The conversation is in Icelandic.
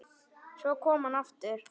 Svo kom hann aftur.